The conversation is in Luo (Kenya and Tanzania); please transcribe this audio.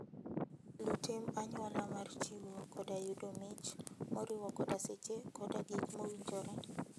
Luw tim anyuola mar chiwo koda yudo mich, moriwo koda seche koda gik mowinjore.